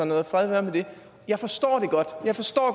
noget og fred være med det jeg forstår det godt jeg forstår